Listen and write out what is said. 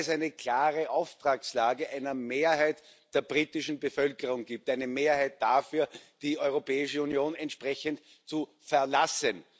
eine klare Auftragslage einer Mehrheit der britischen Bevölkerung gibt, eine Mehrheit dafür, die Europäische Union entsprechend zu verlassen.